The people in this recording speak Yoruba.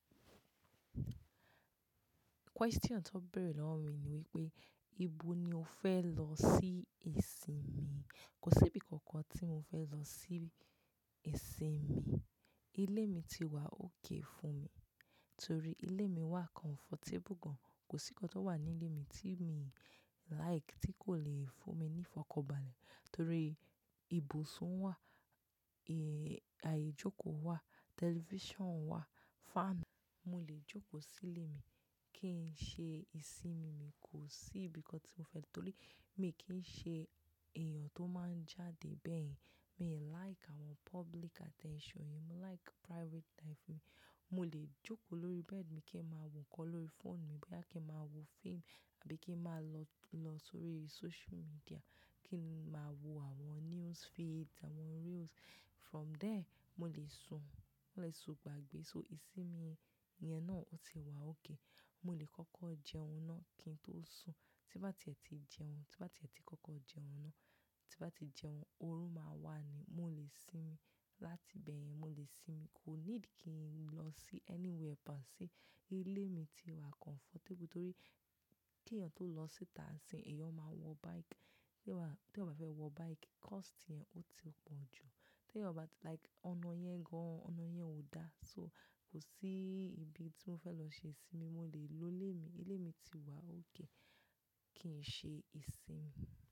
Question tí o bere lọ́wọ́ mi ní wípé, "Ibo ni o fẹ́ lọ sí ìsinmi?" Kò sí ibi kankan tí mo fẹ́ lọ sí ìsinmi. Ilé mi ti wà okay fún mi, torí ilé mi wà comfortable gan. Kò sí nǹkan tó wà ní ilé mi tí mi like tí kò le fún mi ní ìfọ̀kànbalẹ̀. Torí ibùsùn wà, ààyè jókòó wà, television wà, fan. Mo lè jókòó sí ilé mi kí n ṣe ìsinmi. Mi kò sí ibi kankan tí mo fẹ́ lọ, torí mi kì í ṣe èèyàn tó máa ń jáde bẹ́ẹ̀. Mi like àwọn public attention yẹn, mo like private life mi. Mo lè jókòó lórí bed mi kí n máa wo ǹkan lórí phone mi, bóyá kí n máa wo film àbí kí n máa lọ, lọ sórí social media kí n máa wo àwọn news feeds, àwọn reels. From there, mo lè sùn, mo lè sùn gbàgbé. So ìsinmi yẹn náà ó ti wà okay. Mo lè kọ́kọ́ jẹun náà kí n tó sùn. Ti bá ti ẹ ti jẹun, ti bá ti ẹ ti kọ́kọ́ jẹun náà, ti bá ti jẹun, oró máa wà ni mo lè sinmi. Láti bẹ́ẹ̀ yẹn mo lè sinmi. Kò ní dì kí n lọ sí anywhere, pàṣì ilé mi ti wà comfortable torí kí èèyàn tó lọ síta sìn, èèyàn máa wọ bike. Tí ọba fẹ́ wọ bike, cost yẹn ó ti pọ̀ jù. Tí ẹ̀yàn bá like ọ̀nà yẹn gan-an, ọ̀nà yẹn ò dá. So kò sí ibi tí mo fẹ́ lọ ṣe ìsinmi, mo lè lo ilé mi. Ilé mi ti wà okay kí n ṣe ìsinmi.